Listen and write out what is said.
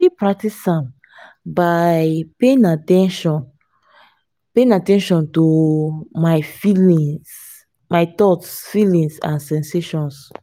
i fit practice am by paying at ten tion paying at ten tion to my thoughts feelings and sensations.